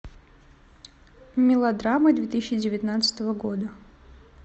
мелодрамы две тысячи девятнадцатого года